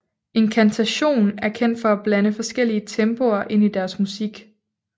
Incantation er kendt for at blande forskellige tempoer ind i deres musik